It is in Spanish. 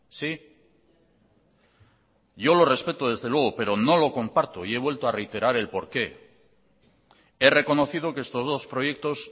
sí yo lo respeto desde luego pero no lo comparto y he vuelto a reiterar el porqué he reconocido que estos dos proyectos